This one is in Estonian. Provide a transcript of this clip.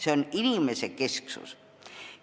See on inimesekesksus.